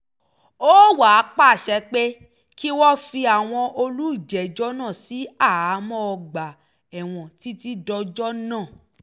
ó wàá pàṣẹ pé kí wọ́n fi àwọn olùjẹ́jọ́ náà sí àhámọ́ ọgbà ẹ̀wọ̀n títí dọjọ́ náà